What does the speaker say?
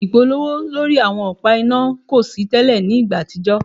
Ipolowo ipolowo lori awọn ọpa ina ko si tẹlẹ ni igba atijọ